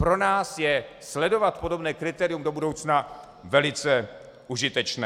Pro nás je sledovat podobné kritérium do budoucna velice užitečné.